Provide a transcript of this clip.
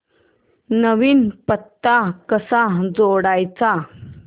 नवीन पत्ता कसा जोडायचा